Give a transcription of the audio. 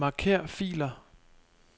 Marker filer.